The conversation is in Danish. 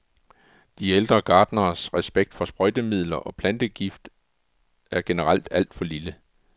De ældre gartneres respekt for sprøjtemidler og plantegifte er generelt alt for lille.